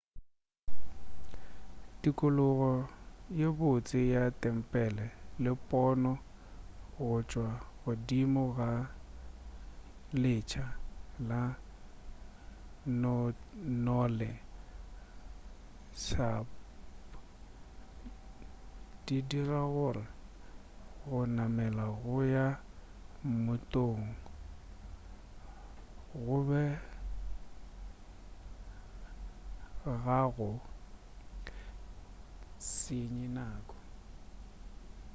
tikologo ye botse ya tempele le pono go tšwa godimo ga letsha la tonle sap di dira gore go namela go ya mmotong go be ga go se senye nako